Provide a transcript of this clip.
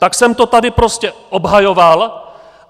Tak jsem to tady prostě obhajoval.